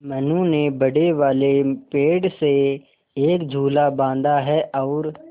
मनु ने बड़े वाले पेड़ से एक झूला बाँधा है और